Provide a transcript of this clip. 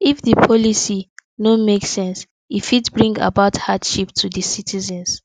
if di policy no make sense e fit bring about hardship to di citizens